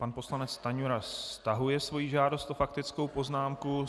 Pan poslanec Stanjura stahuje svoji žádost o faktickou poznámku.